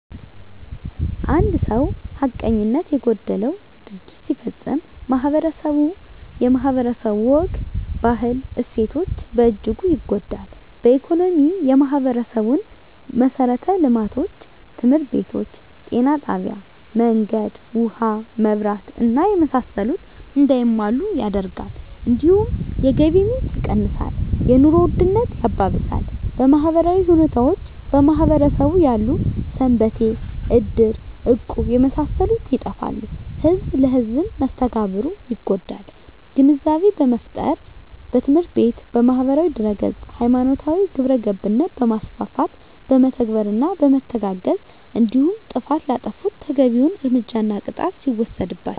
አንድ ሰው ሀቀኝነት የጎደለው ድርጊት ሲፈፀም ማህበረስቡ የማህበረሰቡ ወግ ባህል እሴቶች በእጅጉ ይጎዳል በኢኮኖሚ የማህበረሰቡን መሠረተ ልማቶች( ትምህርት ቤቶች ጤና ጣቢያ መንገድ ውሀ መብራት እና የመሳሰሉት) እንዳይሟሉ ያደርጋል እንዲሁም የገቢ ምንጭ የቀንሳል የኑሮ ውድነት ያባብሳል በማህበራዊ ሁኔታዎች በማህበረሰቡ ያሉ ሰንበቴ እድር እቁብ የመሳሰሉት ይጠፋሉ ህዝብ ለህዝም መስተጋብሩ ይጎዳል ግንዛቤ በመፍጠር በትምህርት ቤት በማህበራዊ ድህረገፅ ሀይማኖታዊ ግብረገብነት በማስፋት በመተባበርና በመተጋገዝ እንዲሁም ጥፍት ላጠፉት ተገቢዉን እርምጃና ቅጣት ሲወሰድባቸው